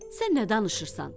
Sən nə danışırsan?